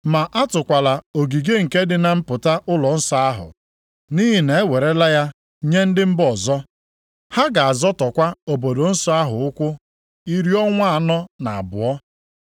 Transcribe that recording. Ma atụkwala ogige nke dị na mpụta ụlọnsọ ahụ, nʼihi na ewerela ya nye ndị mba ọzọ. Ha ga-azọtọkwa obodo nsọ ahụ ụkwụ iri ọnwa anọ na abụọ.